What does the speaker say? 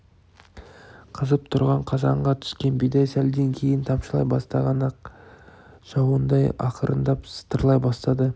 қызып тұрған қазанға түскен бидай сәлден кейін тамшылай бастаған ақ жауындай ақырындап сытырлай бастады